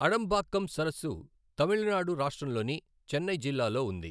అడంబాక్కం సరస్సు తమిళనాడు రాష్ట్రంలోని చెన్నై జిల్లాలో ఉంది.